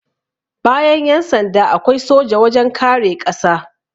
Bayan Yan sanda, akwai soja wajen kare ƙasa